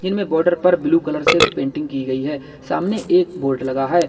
जिनमें बॉर्डर पर blue colour से पेंटिंग की गई है सामने एक बोर्ड लगा है।